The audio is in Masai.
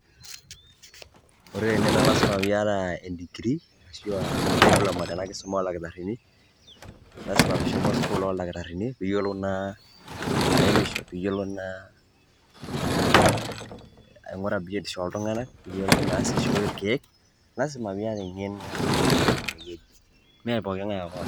Ore tene na lasima piata digirii, ashu a diploma tenakisuma oldakitarrini, lasima peshomo sukuul oldakitarrini piyiolou naa ataremisho, piyiolou naa ah aing'ura biotisho oltung'anak, piyiolou na si aishooi irkeek. Lasima piata eng'eno. Mepoking'ae ake oas.